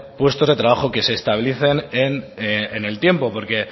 puestos de trabajo que se estabilicen en el tiempo porque